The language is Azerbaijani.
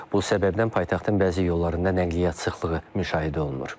Bu səbəbdən paytaxtın bəzi yollarında nəqliyyat sıxlığı müşahidə olunur.